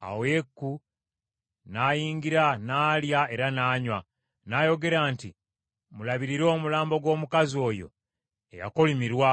Awo Yeeku n’ayingira, n’alya era n’anywa. N’ayogera nti, “Mulabirire omulambo gw’omukazi oyo eyakolimirwa,